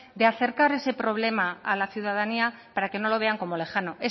de acercar ese problema a la ciudadanía para que no lo vean como lejano